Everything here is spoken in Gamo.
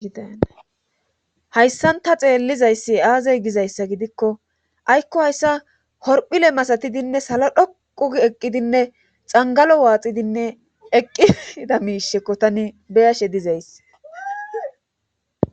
dhayssanta xeellizayssi aazey gizayssa gidikko aykko hayssa horphile masatidinne sala dhoqu eqqidinne xangalo waaxidinne eqqida miishekko tani beyashe dizays